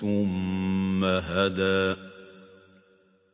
ثُمَّ هَدَىٰ